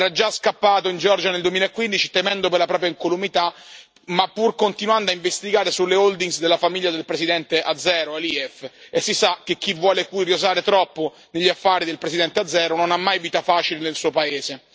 Era già scappato in Georgia nel 2015, temendo per la propria incolumità, pur continuando a investigare sulle holding della famiglia del Presidente azero Aliyev, e si sa che chi vuole curiosare troppo negli affari del Presidente azero non ha mai vita facile nel suo paese.